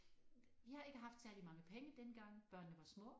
Vi har ikke haft særlig mange penge dengang børnene var små